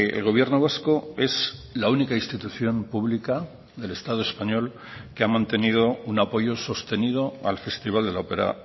el gobierno vasco es la única institución pública del estado español que ha mantenido un apoyo sostenido al festival de la opera